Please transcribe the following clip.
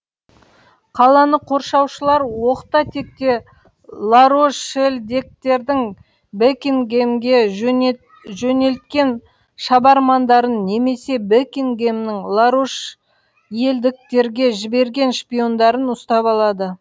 қаланы қоршаушылар оқта текте ларошельдіктердің бекингэмге жөнел жөнелткен шабармандарын немесе бекингэмнің ларошельдіктерге жіберген шпиондарын ұстап алады